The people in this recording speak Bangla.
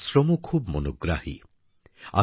এদের আশ্রমও খুবই মনোগ্রাহী